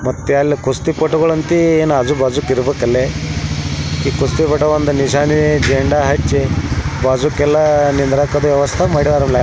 ಮತ್ತೆ ಅಲ್ಲಿ ಕುಸ್ತಿ ಪಟುಗಳಂತೆ ಆಜು ಬಾಜು ಇರತ್ತೆ ಇರ್ಬೇಕಲ್ಲಿ ಬಾಜೂಕ್ ಎಲ್ಲ ನಿಂದ್ರಕ ವ್ಯವಸ್ತ ಮಾಡ್ಯರಲ.